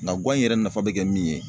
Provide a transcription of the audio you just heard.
Nka gan in yɛrɛ nafa be kɛ min ye.